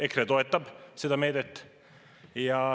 EKRE toetab seda meedet.